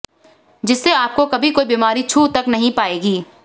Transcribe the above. जिससे आपको कभी कोई बीमारी छू तक नही पाएगी